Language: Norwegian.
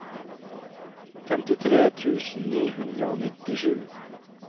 femtitre tusen ni hundre og nittisju